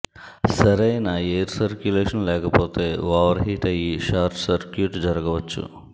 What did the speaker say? సరైన air circulation లేకపోతే over heat అయ్యి షార్ట్ సర్క్యూట్ జరగవచ్చు